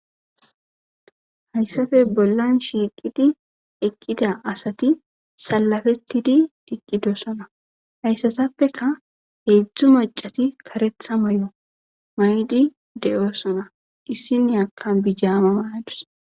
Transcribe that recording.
hayssafe bollan shiiqidi eqqida asati Salafettidi diqqidosona hayssatappeka heedzdzu macati karetha may7o maydi deyoosona issine akkan bijaama mayadus.